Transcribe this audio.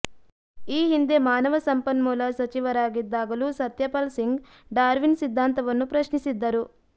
ಈ ಹಿಂದೆ ಮಾನವ ಸಂಪನ್ಮೂಲ ಸಚಿವರಾಗಿದ್ದಾಗಲೂ ಸತ್ಯಪಾಲ್ ಸಿಂಗ್ ಡಾರ್ವಿನ್ ಸಿದ್ಧಾಂತವನ್ನು ಪ್ರಶ್ನಿಸಿದ್ದರು